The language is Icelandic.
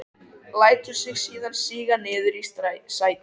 Lætur sig síðan síga niður í sætið.